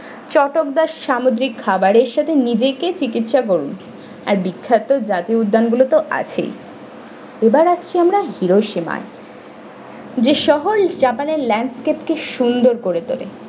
চটকদার সামুদ্রিক খাবারের সাথে নিজেকে চিকিৎসা করুন আর বিক্ষত জাতি উদ্যানগুলো তো আছেই এবার আসছি আমরা hiroshima যে শহর japan এর landscape কে সুন্দর করে তোলে।